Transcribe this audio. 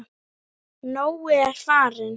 Nói er farinn.